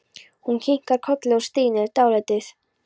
Hún kinkar kolli og stynur dálítið.